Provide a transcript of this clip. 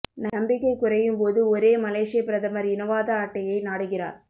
நம்பிக்கை குறையும் போது ஒரே மலேசியா பிரதமர் இனவாத அட்டையை நாடுகிறார்